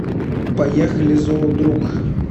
поехали зоодруг